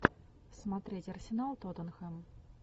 смотреть арсенал тоттенхэм